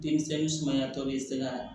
Denmisɛn sumaya tɔ bɛ se ka